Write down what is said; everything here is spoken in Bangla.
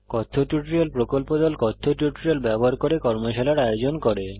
কথ্য টিউটোরিয়াল প্রকল্প দল কথ্য টিউটোরিয়াল ব্যবহার করে কর্মশালার আয়োজন করে